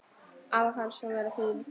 Afa fannst hún vera fín.